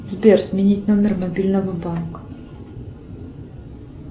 сбер сменить номер мобильного банка